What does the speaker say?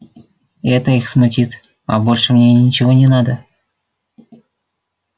это их смутит а больше мне ничего не надо